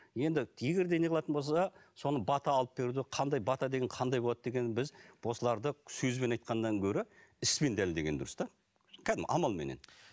енді егер де не қылатын болса да соны бата алып беруде қандай бата деген қандай болады деген біз осыларды сөзбен айтқаннан гөрі іспен дәлелдеген дұрыс та кәдімгі амалменен